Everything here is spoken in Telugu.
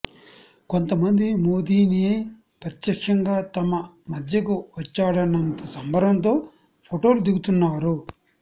కొంత మంది మోదీనే ప్రత్యక్షంగా తమ మధ్యకు వచ్చాడన్నంత సంబరంతో ఫొటోలు దిగుతున్నారు